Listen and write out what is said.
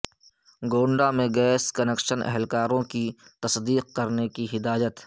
گونڈہ میں gas connection اہلکاروں کی تصدیق کرنے کی ہدایت